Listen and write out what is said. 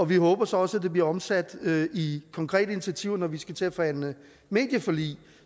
vi håber så også at det bliver omsat i konkrete initiativer når vi skal til at forhandle medieforlig